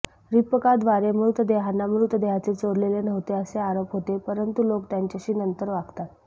रिप्पकाद्वारे मृतदेहांना मृतदेहांचे चोरलेले नव्हते असे आरोप होते परंतु लोक त्यांच्याशी नंतर वागतात